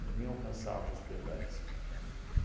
Eu nem alcançava os pedais, tá?